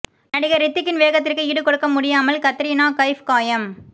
நடிகர் ரித்திக்கின் வேகத்திற்கு ஈடு கொடுக்க முடியாமல் கத்ரீனா கைஃப் காயம்